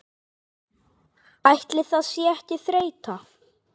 Ætli það sé ekki þreyta